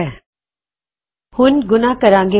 ਹੁਣ ਗੁਣਾ ਮਲੱਟਿਪਲਾਇ ਕਰਾਂਗੇ